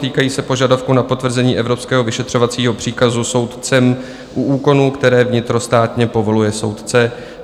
Týkají se požadavku na potvrzení evropského vyšetřovacího příkazu soudcem u úkonů, které vnitrostátně povoluje soudce.